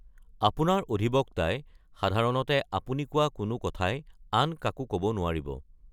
আপোনাৰ অধিবক্তাই সাধাৰণতে আপুনি কোৱা কোনো কথাই আন কাকো ক’ব নোৱাৰিব।